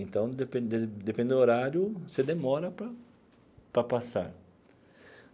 Então, dependendo dependendo do horário, você demora para para passar.